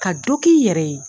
Ka dɔ k'i yɛrɛ ye.